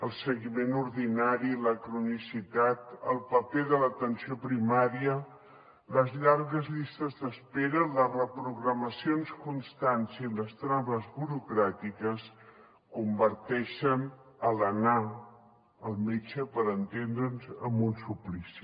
el seguiment ordinari la cronicitat el paper de l’atenció primària les llargues llistes d’espera les reprogramacions constants i les traves burocràtiques converteixen l’anar al metge per entendre’ns en un suplici